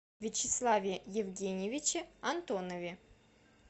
вячеславе евгеньевиче антонове